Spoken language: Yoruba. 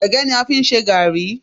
Ẹ̀gẹ́ ni a fi ń ṣe gààrí